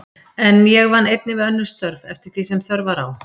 En ég vann einnig við önnur störf, eftir því sem þörf var á.